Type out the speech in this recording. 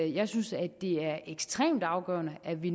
jeg synes at det er ekstremt afgørende at vi